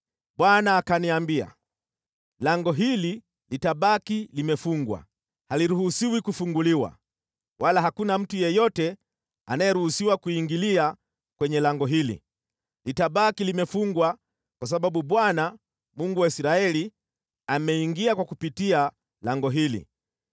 Bwana akaniambia, “Lango hili litabaki limefungwa. Haliruhusiwi kufunguliwa, wala hakuna mtu yeyote anayeruhusiwa kuingilia kwenye lango hili. Litabaki limefungwa kwa sababu Bwana , Mungu wa Israeli, ameingia kwa kupitia lango hili.